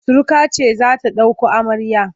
Suruka ce za ta ɗauko amarya.